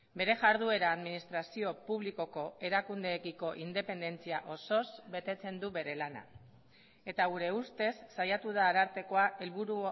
bere jarduera administrazio publikoko erakundeekiko independentzia osoz betetzen du bere lana eta gure ustez saiatu da arartekoa helburu